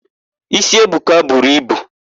Ísí Ebuka buru ibu.